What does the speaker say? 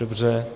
Dobře.